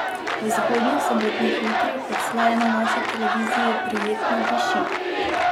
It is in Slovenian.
V zgodnjih sobotnih jutrih odslej na naši televiziji prijetno diši.